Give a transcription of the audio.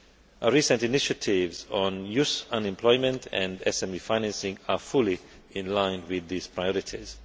Our recent initiatives on youth unemployment and SME financing are fully in line with these priorities.